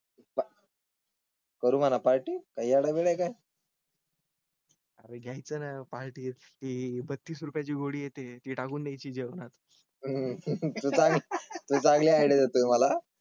करु म्हणा पार्टी काय येडाबिडा काय? घ्याय चं. पार्टी कि बत्तीस रुपयाची गोळी येते. ती टाकून द्यायची जेवणात तु चांगली आयडिया देतोय मला.